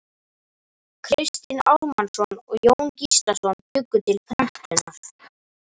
Kristinn Ármannsson og Jón Gíslason bjuggu til prentunar.